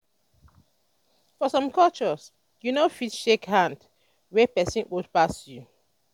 for some culture you no fit shake person wey old pass you